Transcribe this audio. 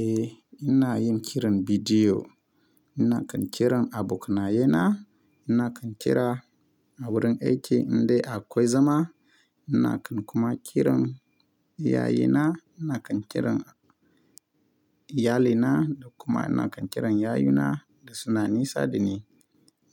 Eh ina yin kiran bidiyo. Ina kan kiran abokanaye na, ina kan kira a wurin aiki inda akwai zama, ina kan kuma kiran iyaye na, ina kan kiran iyalina da kuma ina kan kiran yayuna da suna nisa da ni.